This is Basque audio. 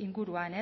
inguruan